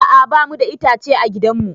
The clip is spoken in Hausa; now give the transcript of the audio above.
A'a ba mu da itace a gidan mu